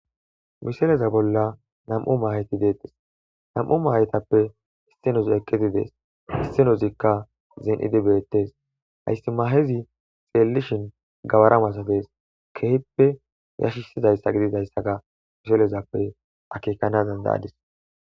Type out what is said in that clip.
miseleza bolla nam7u mayeti deettes nam7u maayetappe issenoz eqqitidees hissenozikka zen7idi beettes hayssi mahezi xeellishin gawaramasatees kehippe yashisizayssa gididayssaga miselezappe akekanadanda7adis